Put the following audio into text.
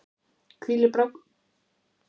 hvílir blágrýtismyndunin á misgömlum jarðmyndunum.